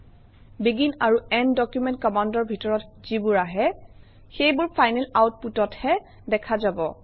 begin আৰু end document কমাণ্ডৰ ভিতৰত যিবোৰ আহে সেইবোৰ ফাইনেল আউটপুটতহে দেখা যাব